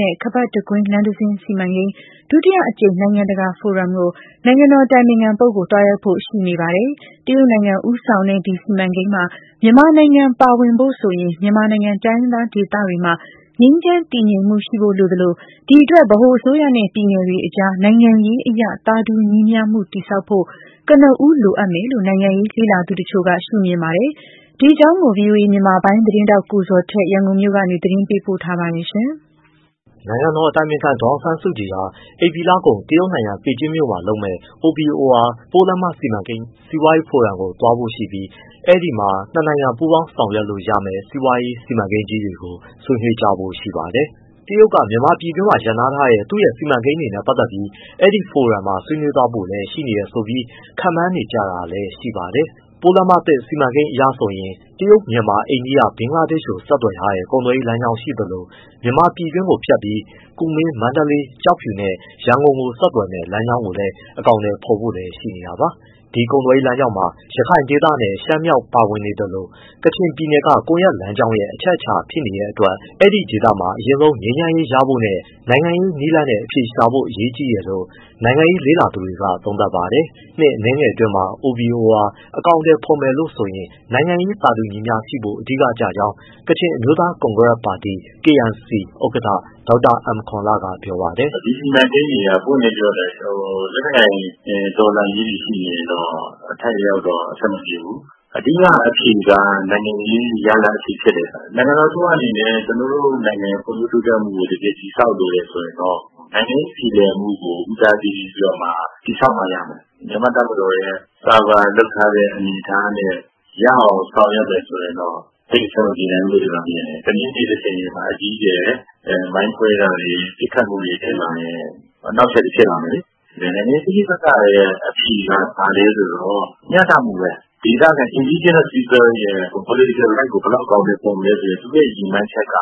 တဲ့ OBOR ခါးပတ်တကွင်းလမ်းတစင်းစီမံကိန်း ဒုတိယအကြိမ် နိုင်ငံတကာဖော်ရမ်ကို နိုင်ငံတော်အတိုင်ပင်ခံပုဂ္ဂိုလ်သွားရောက်ဖို့ ရှိနေပါတယ်။ တရုတ်နိုင်ငံဦးဆောင်တဲ့ ဒီစီမံကိန်းမှာ မြန်မာနိုင်ငံပါဝင်ဖို့ဆိုရင်တော့ မြန်မာနိုင်ငံတိုင်းရင်းသားဒေသတွေမှာ ငြိမ်းချမ်းတည်ငြိမ်မှု ရှိဖို့လိုသလို၊ အဲဒီအတွက် ဗဟိုအစိုးရနဲ့ ပြည်နယ်တွေအကြား နိုင်ငံရေးအရ သာတူညီမျှမှု တည်ဆောက်ဖို့ ကနဦးလိုအပ်မယ်လို့ နိုင်ငံရေးလေ့လာသူအချို့က ရှုမြင်ပါတယ်။ ဒီအကြောင်းကို ဗွီအိုအေ မြန်မာပိုင်းသတင်းထောက် ကိုဇော်ထက် ရန်ကုန်ကနေ မေးမြန်းပေးပို့ထားပါတယ်။ နိုင်ငံတော်အတိုင်ပင်ခံ ဒေါ်အောင်ဆန်းစုကြည်ဟာ ဧပြီလကုန် တရုတ်နိုင်ငံ ဘေကျင်းမှာလုပ်မယ့် OBOR ပိုးလမ်းမ စီမံကိန်း စီးပွားရေးဖိုရမ်ကို သွားဖို့ရှိပြီး အဲဒီမှာ နှစ်နိုင်ငံပူးပေါင်းဆောင်ရွက်လို့ရမယ့် စီမံကိန်းကြီးတွေကိုဆွေးနွေးကြဖို့ရှိပါတယ်။ တရုတ်ဟာ မြန်မာပြည်တွင်းမှာ ရပ်နားထားတဲ့ သူရဲ့ စီမံကိန်းတွေနဲ့ ပတ်သတ်ပြီး ဒီဖိုရမ်မှာ ဆွေးနွေးသွားဖို့လည်းရှိနေတယ်ဆိုပြီး ခန့်မှန်းနေကြတာလည်းရှိပါတယ်။ တရုတ်ပိုးလမ်းမသစ်စီမံကိန်းအရဆိုရင်တော့ တရုတ်-မြန်မာ-အိန္ဒိယ-ဘင်္ဂလားဒေ့ရှ်ကိုဆက်သွယ်ထားတဲ့ ကုန်သွယ်ရေးလမ်းကြောင်းရှိသလို မြန်မာပြည်တွင်းကိုဖြတ်ပြီး ကူမင်း-မန္တလေး-ကျောက်ဖြူနဲ့ရန်ကုန်ကို ဆက်သွယ်မယ့်လမ်းကြောင်းကိုလည်း အကောင်အထည်ဖော်ဖို့ လည်းရှိနေတာပါ။ ဒီကုန်သွယ်ရေးလမ်းကြောင်းမှာ ရခိုင်ဒေသနဲ့ ရှမ်းမြောက်ပါဝင်နေသလို ကချင်ပြည်နယ်က ကွန်ရက်လမ်းကြောင်းရဲ့အချက်အချာနေရာလိုဖြစ်နေတဲ့ အတွက် ဒီဒေသတွေမှာ အရင်ဆုံးငြိမ်းချမ်းရေးရဖို့နဲ့ နိုင်ငံရေးနည်းလမ်းနဲ့ အဖြေရှာဖို့အရေးကြီးတယ်လို့ နိုင်ငံရေးလေ့လာသူတွေကသုံးသပ်ပါတယ်။ နှစ်အနည်းငယ်အတွင်းမှာ OBOR အကောင်အထည်ဖော်ဖို့ဆိုရင် နိုင်ငံရေး သာတူညီမျှရှိဖို့ အဓိကကျကြောင်း ကချင်အမျိုးသား ကွန်ဂရက်ပါတီ KNC ဥက္ကဋ္ဌ ဒေါက်တာအမ်ကော်န်လ က ပြောပါတယ်။ “ဒီစီမံကိန်းတွေက ပွင့်ပွင့်လင်းလင်းပြောရင်တော့ လက်နက်ကိုင်တော်လှန်ရေးတွေရှိနေရင်တော့ အထိုက်အလျှောက်တော့အဆင်မပြေဘူး။ အဓိကအဖြေက နိုင်ငံရေးရလဒ်အဖြေဖြစ်တယ်။ နိုင်ငံတော်အစိုးရအနေနဲ့ ကျနော်တို့နိုင်ငံရဲ့ ဖွံ့ဖြိုးတိုးတက်မှုကို တကယ်တည်ဆောက်လိုတယ်ဆိုရင် နိုင်ငံရေး ပြေလည်မှုကို ဦးစားပေးပြီးတော့မှ တည်ဆောက်မှရမယ်။ မြန်မာ့တပ်မတော်ရဲ့ cover လုပ်ထားတဲ့ အနေအထားနဲ့ ရအောင် ဆောင်ရွက်မယ် ဆိုရင်တော့ သိပ်အဆင်မပြေနိုင်ဘူးလို့ ကျနော်မြင်တယ်။ တနေ့နေ့တချိန်ချိန်မှာ အကြီးအကျယ် မိုင်းခွဲတာတွေ၊ ပစ်ခတ်မှုတွေဖြစ်လာရင် အနှောက် အယှက်တွေဖြစ်လာမယ်လေ။ နိုင်ငံရေးဋိပက္ခရဲ့အဖြေက မျှတမှုပဲ၊ ဒေသခံ indigenous people ရဲ့ political rights ကိုအကောင်အထည် ဖော်မလဲ ဆိုတဲ့သူတို့ရဲ့ ရည်မှန်းချက်က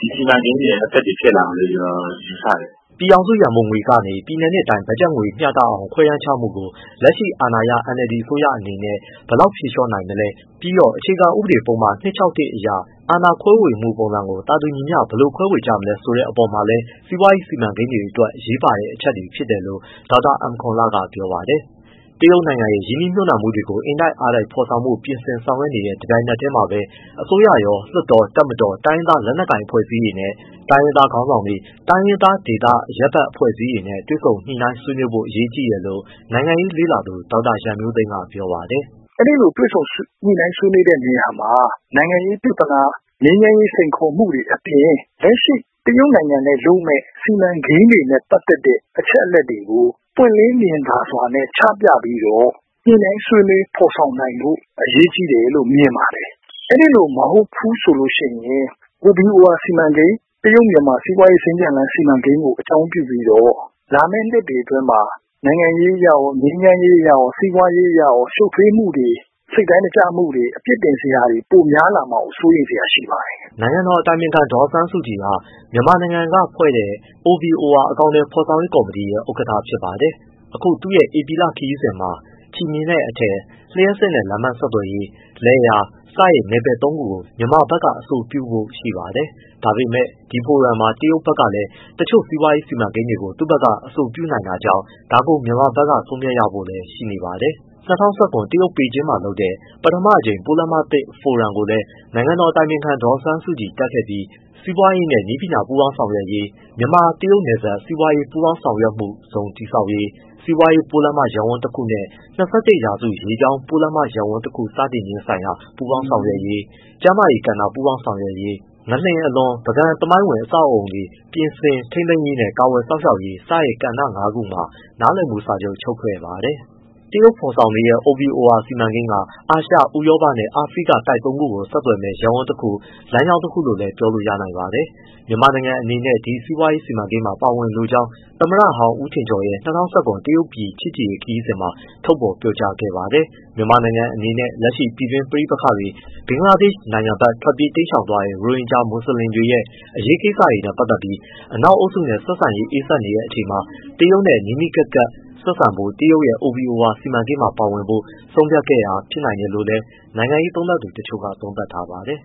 ဒီစီမံကိန်းရဲ့ အသက်တွေ ဖြစ်လာမယ်လို့ ကျနော်ယူဆတယ်။” ပြည်ထောင်စ ုရန်ပုံငွေကနေ ပြည်နယ်နဲ့တိုင်း ဘက်ဂျက်ငွေမျှတအောင်ခွဲတမ်းချမှုကို လက်ရှိအာဏာရ NLD အစိုးရအနေနဲ့ ဘယ်လောက်ဖြေလျှော့ နိုင်မလဲ၊ ပြီးတော့ အခြေခံဥပဒေပုဒ်မ ၂၆၁ အရ အာဏာခွဲမှုပုံစံကို သာတူညီမျှ ဘယ်လိုခွဲဝေကြမလဲဆိုတဲ့အပေါ်မှာလည်းစီးပွားရေး စီမံကိန်းတွေအတွက် အရေးပါတဲ့ အချက်တွေ ဖြစ်တယ်လို့ ဒေါက်တာအမ်ကော်န်လ က ပြောပါတယ်။ တရုတ်နိုင်ငံရဲ့ ရင်းနှီးမြှပ်နှံမှုတွေကို အင်တိုက်အားတိုက်ဖော်ဆောင်ဖို့ ပြင်ဆင်ဆောင်ရွက်နေတဲ့ တပြိုင်နက်တည်းမှာပဲ အစိုးရရော၊ လွှတ်တော်၊ တပ်မတော်နဲ့ တိုင်းရင်းသားလက်နက်ကိုင် အဖွဲ့အစည်းတွေ၊ တိုင်းရင်းသားခေါင်းဆောင်တွေ၊ တိုင်းရင်းသားဒေသကအရပ်ဘက် အဖွဲ့အစည်းတွေနဲ့ တွေ့ဆုံညှိနှိုင်း ဆွေးနွေးနိုင်ဖို့ အရေးကြီးတယ်လို့ နိုင်ငံရေးလေ့လာသူ ဒေါက်တာရန်မျိုးသိမ်းက ပြောပါတယ်။ “အဲဒီလို တွေ့ဆုံညှိနှိုင်းဆွေးနွေးတဲ့နေရာမှာ နိုင်ငံရေးပြဿနာ၊ ငြိမ်းချမ်းရေးစိမ်ခေါ်မှုတွေ အပြင် လက်ရှိ တရုတ်နိုင်ငံနဲ့လုပ်မယ့် စီမံကိန်းတွေနဲ့ ပတ်သက်တဲ့ အချက်အလက်တွေကို ပွင့်လင်းမြင်သာစွာနဲ့ ချပြပြီးတော့ ညှိနှိုင်းဆွေးနွေးဖော်ဆောင်နိုင်ဖို့ အရေးကြီးတယ်လို့ မြင်ပါတယ်။ အဲဒီလို မဟုတ်ဘူးဆိုရင် OBOR စီမံကိန်း၊ တရုတ်- မြန်မာစီးပွားရေး စင်္ကြန် စီမံကိန်းကို အကြောင်းပြုပြီးတော့ လာမယ့်နှစ်တွေအတွင်းမှာ နိုင်ငံရေးအရရော ငြိမ်းချမ်းရေးအရရော စီးပွားရေးအရရော ရှုပ်ထွေးမှုတွေ၊ စိတ်တိုင်းမကျမှုတွေ၊ အပြစ်တင်စရာတွေပိုများလာမှာကို စိုးရိမ်စရာရှိပါတယ်။” နိုင်ငံတော်အတိုင်ပင်ခံ ဒေါ်အောင်ဆန်းစုကြည်ဟာ မြန်မာနိုင်ငံကဖွဲ့တဲ့ OBOR အကောင်အထည်ဖော်ရေး ကော်မတီရဲ့ ဥက္ကဋ္ဌဖြစ်ပါတယ်။ အခုသူ့ရဲ့ ဧပြီလခရီးစဉ်မှာ ချည်မျှင်နဲ့အထည် လျှပ်စစ်နဲ့ လမ်းပန်းဆက်သွယ်ရေး လယ်ယာ စတဲ့နယ်ပယ်သုံးခုကို မြန်မာဘက်က အဆိုပြုဖို့ရှိပါတယ်။ ဒါပေမဲ့ ဒီဖိုရမ်မှာ တရုတ်ဘက်ကလည်း တချို့ စီးပွားရေးစီမံကိန်းတွေကို သူ့ဘက်က အဆိုပြုနိုင်တာကြောင့်၊ ဒါကို မြန်မာဖက်က ဆုံးဖြတ်ရဖို့ရှိနေပါတယ်။ ၂၀၁၇ တရုတ်၊ ပေကျင်းမှာလုပ်ခဲ့တဲ့ ပထမအကြိမ် ပိုးလမ်းမသစ်ဖိုရမ်ကိုလည်း နိုင်ငံတော်အတိုင်ပင်ခံ ဒေါ်အောင်ဆန်းစုကြည် တက်ခဲ့ပြီး စီးပွားရေးနဲ့ နည်းပညာပူးပေါင်းဆောင်ရွက်ရေး၊ မြန်မာ-တရုတ်နယ်စပ် စီးပွားရေး ပူးပေါင်းဆောင်ရွက်မှုဇုန်တည်ဆောက်ရေး၊ စီးပွားရေးပိုးလမ်းမ ရပ်ဝန်းတခုနဲ့ ၂၁ရာစုရေကြောင်း ပိုးလမ်းမရပ်ဝန်းတခု စတင်ခြင်းဆိုင်ရာ ပူးပေါင်းဆောင်ရွက်ရေး၊ ကျန်းမာရေးကဏ္ဍပူးပေါင်းဆောင်ရွက်ရေး၊ ငလျှင်အလွန် ပုဂံသမိုင်းဝင် အဆောက်အဦးတွေ ပြုပြင်ထိန်းသိမ်းရေးနဲ့ ကာကွယ်စောင့်ရှောက်ရေး စတဲ့ ကဏ္ဍငါးခုမှာ နားလည်မှုစာချုပ် ချုပ်ဆိုခဲ့ပါတယ်။ တရုတ်ဖော်ဆောင်နေတဲ့ OBOR စီမံကိန်းက အာရှ၊ ဥရောပနဲ့ အာဖရိက တိုက်သုံးခုကိုဆက်သွယ်မယ့် ရပ်ဝန်းတခု၊ လမ်းကြောင်းတစ်ခုလို့လည်း ပြောလို့ ရနိုင်ပါတယ်။ မြန်မာနိုင်ငံအနေနဲ့ ဒီ စီးပွားရေးစီမံကိန်းမှာ ပါဝင်လိုကြောင်း သမ္မတဟောင်း ဦးထင်ကျော်ရဲ့ ၂၀၁၇ တရုတ်ပြည်ချစ်ကြည်ရေး ခရီးစဉ်မှာ ထုတ်ဖော် ပြောကြားခဲ့ပါတယ်။ မြန်မာနိုင်ငံအနေနဲ့ လက်ရှိမှာ ပြည်တွင်းပဋိပက္ခတွေ၊ ဘင်္ဂလားဒေ့ရှ်နိုင်ငံဖက် ထွက်ပြေးတိမ်းရှောင်သွားတဲ့ ရိုဟင်ဂျာ မွတ်စလင်တွေရဲ့ အရေးကိစ္စတွေနဲ့ ပတ်သတ်ပြီး အနောက်အုပ်စုနဲ့ ဆက်ဆံရေး အေးစက်နေတဲ့အချိန်မှာ၊ တရုတ်နဲ့ ပိုနီးနီးကပ်ကပ်ဆက်ဆံဖို့ တရုတ်ရဲ့ OBOR စီမံကိန်းမှာပါဝင်ဖို့ ဆုံးဖြတ်ခဲ့တာ ဖြစ်နိုင်တယ်လို့လည်း နိုင်ငံရေးလေ့လာသူတချို့ကသုံးသပ်ပါတယ်